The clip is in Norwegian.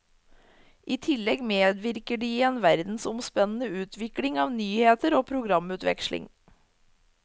I tillegg medvirker de i en verdensomspennende utvikling av nyheter og programutveksling.